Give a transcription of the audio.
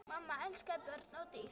Mamma elskaði börn og dýr.